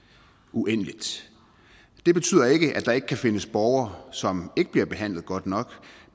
uendeligt det betyder ikke at der ikke kan findes borgere som ikke bliver behandlet godt nok